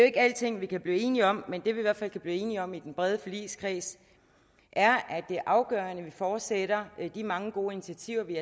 ikke alting vi kan blive enige om men det vi i hvert fald kan blive enige om i den brede forligskreds er at det er afgørende at vi fortsætter de mange gode initiativer vi